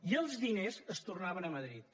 i els diners es tornaven a madrid